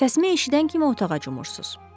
Səsimi eşidən kimi otağa cumursuz.